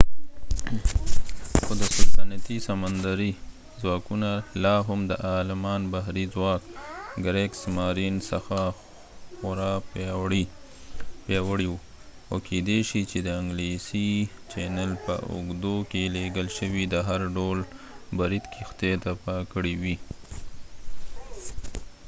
خو سلطنتي سمندري ځواکونه لاهم د آلمان بحري ځواک کریګسمارین څخه خورا پیاوړي وو او کيدي شې چې د انګلیسي چینل په اوږدو کې لیږل شوي د هر ډول برید کښتۍ تباه کړي وې